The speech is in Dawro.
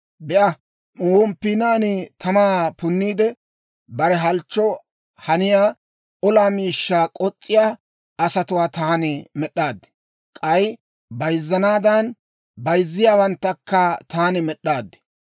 «Be'a, womppiinaan tamaa punniide, bare halchchoo haniyaa olaa miishshaa k'os's'iyaa asatuwaa taani med'd'aad. K'ay bayzzanaadan, bayzziyaawanttakka taani med'd'aad.